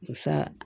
Musa